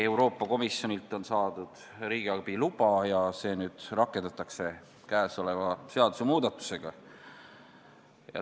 Euroopa Komisjonilt on saadud riigiabi luba ja käesoleva seadusemuudatusega see rakendatakse.